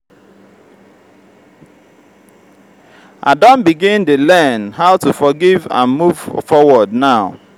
i don begin dey learn how to forgive and move forward now.